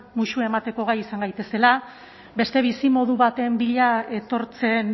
musu emateko gai izan gaitezela beste bizimodu baten bila etortzen